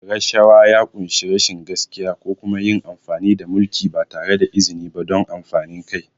Rashawa ya ƙunshi rashin gaskiya ko kuma yin amfani da mulki ba tare da izini ba don amfanin kai.